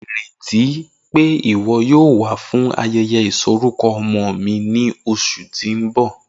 Ireti pe iwọ yoo wa fun ayẹyẹ isọkọ ọmọ mi ni oṣu ti n bọ.